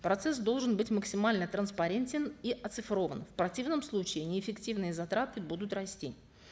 процесс должен быть максимально транспарентен и оцифрован в противном случае неэффективные затраты будут расти